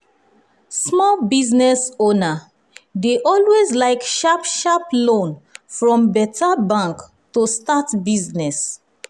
small business owner dey always like sharp-sharp loan from beta bank to start business.